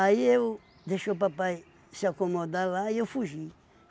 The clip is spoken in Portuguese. eu deixei o papai se acomodar lá e eu fugi.